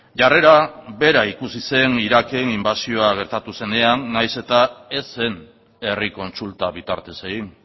jarrera bera ikusi zen iraken inbasioa gertatu zenean nahiz eta ez zen herri kontsulta bitartez egin